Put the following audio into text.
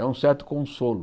É um certo consolo.